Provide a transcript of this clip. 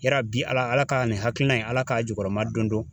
Yarabi Ala Ala ka nin hakilina in Ala k'a jukɔrɔma don don.